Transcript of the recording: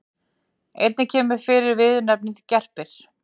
Einnig kemur fyrir viðurnefnið gerpir.